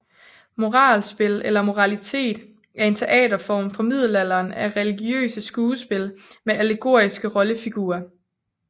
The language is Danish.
Moralspil eller moralitet er en teaterform fra middelalderen af religiøse skuespil med allegoriske rollefigurer